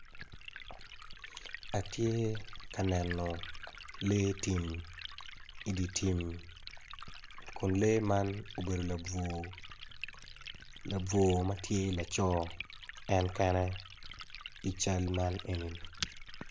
Atye ka neno lee tim iditim kun lee man obedo labwor labwor matye laco en kene i cal man enini.